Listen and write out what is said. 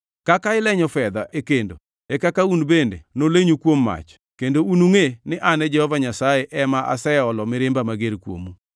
Kaka ilenyo fedha e kendo, e kaka un bende nolenyu kuom mach, kendo unungʼe ni an Jehova Nyasaye ema aseolo mirimba mager kuomu.’ ”